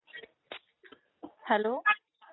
hello